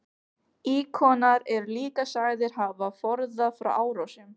Íkonar eru líka sagðir hafa forðað frá árásum.